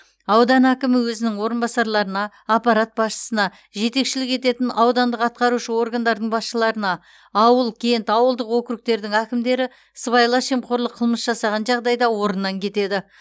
аудан әкімі өзінің орынбасарларына аппарат басшысына жетекшілік ететін аудандық атқарушы органдардың басшыларына ауыл кент ауылдық округтердің әкімдері сыбайлас жемқорлық қылмыс жасаған жағдайда орнынан кетеді